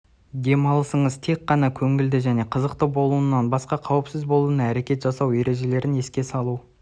демалысыңыз тек қана көңілді және қызықты болуынан басқа қауіпсіз болуына әрекет жасау ережелерін еске салу